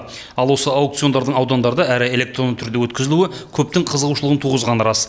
ал осы аукциондардың аудандарда әрі электронды түрде өткізілуі көптің қызығушылығын туғызғаны рас